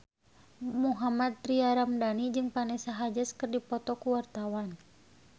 Mohammad Tria Ramadhani jeung Vanessa Hudgens keur dipoto ku wartawan